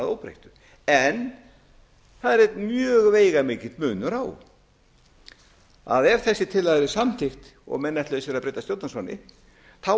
að óbreyttu það er einn mjög veigamikill munur á ef þessi tillaga yrði samþykkt og menn ætluðu sér að breyta stjórnarskránni yrði það